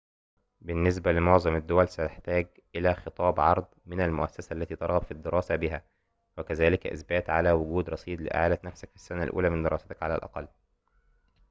بالنسبة لمعظم الدول ستحتاج إلى خطاب عرض من المؤسسة التي ترغب في الدراسة بها وكذلك إثبات على وجود رصيد لإعالة نفسك في السنة الأولى من دراستك على الأقل